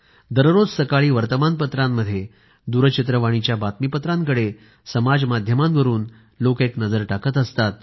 दररोज सकाळी वर्तमानपत्रांमध्ये दूरचित्रवाणीच्या बातमीपत्रांकडे समाज माध्यमांवरून लोक एक नजर टाकत असतात